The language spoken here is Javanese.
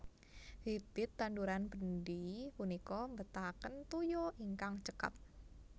Bibit tanduran bendi punika mbetahaken toya ingkang cekap